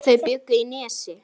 Þau bjuggu í Nesi.